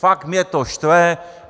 Fakt mě to štve.